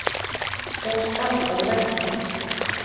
Og sparkar í vegginn.